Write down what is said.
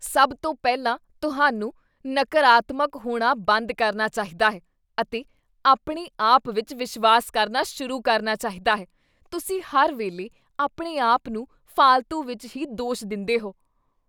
ਸਭ ਤੋਂ ਪਹਿਲਾਂ ਤੁਹਾਨੂੰ ਨਕਾਰਾਤਮਕ ਹੋਣਾ ਬੰਦ ਕਰਨਾ ਚਾਹੀਦਾ ਹੈ ਅਤੇ ਆਪਣੇ ਆਪ ਵਿੱਚ ਵਿਸ਼ਵਾਸ ਕਰਨਾ ਸ਼ੁਰੂ ਕਰਨਾ ਚਾਹੀਦਾ ਹੈ। ਤੁਸੀਂ ਹਰ ਵੇਲੇ ਆਪਣੇ ਆਪ ਨੂੰ ਫਾਲਤੂ ਵਿੱਚ ਹੀ ਦੋਸ਼ ਦਿੰਦੇਹੋ।